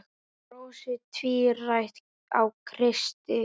Brosið tvírætt á Kristi.